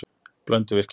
Blönduvirkjun